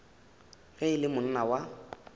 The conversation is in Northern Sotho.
ge e le monna wa